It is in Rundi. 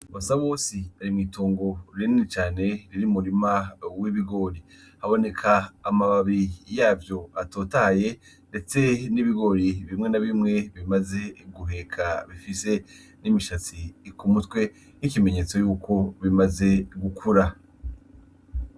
Basabose ari mw’itongo rinini cane riri mu murima w’ibigori . Haboneka amababi yavyo atotahaye ndetse n’ibigori bimwe na bimwe bimaze guheka bifise n’imishatsi ku mutwe nk’ikimenyetso co gukura.